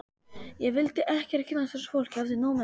Ég vildi ekkert kynnast þessu fólki, hafði nóg með mig.